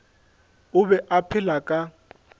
o be a phela ka